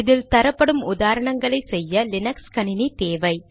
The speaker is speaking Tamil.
இதில் தரப்படும் உதாரணங்களை செய்ய லீனக்ஸ் கணினி தேவை